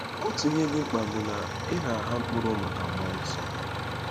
Otu ihe dị mkpa bụ na ị ‘na-agha mkpụrụ maka mmụọ nsọ.’